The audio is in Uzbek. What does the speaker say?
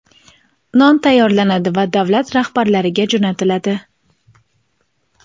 non tayyorlanadi va davlat rahbarlariga jo‘natiladi.